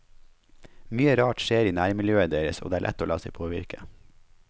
Mye rart skjer i nærmiljøet deres og det er lett å la seg påvirke.